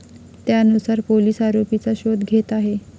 त्यानुसार पोलीस आरोपीचा शोध घेत आहे.